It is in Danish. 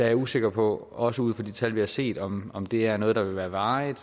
jeg usikker på også ud fra de tal vi har set om om det er noget der vil være varigt